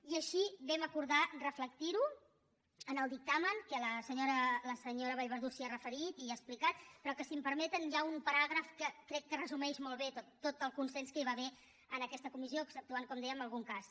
i així vam acordar reflectir ho en el dictamen que la senyora vallverdú s’hi ha referit i ha explicat però que si m’ho permeten hi ha un paràgraf que crec que resumeix molt bé tot el consens que hi va haver en aquesta comissió exceptuant com dèiem algun cas